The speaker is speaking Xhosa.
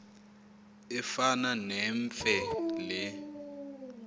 efana nemfe le